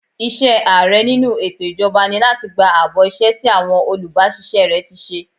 Iṣẹ́ Ààrẹ nínú ètò ìjọba ni láti gba àbọ̀ iṣẹ́ tí àwọn olubasise rẹ ti ṣe.